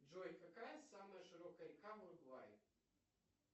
джой какая самая широкая река в уругвае